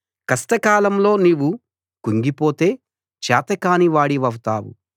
కష్ట కాలంలో నీవు కుంగిపోతే చేతగాని వాడివౌతావు